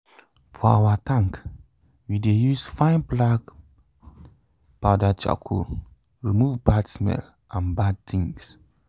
for our tank we dey use fine black powder charcoal remove bad smell and bad things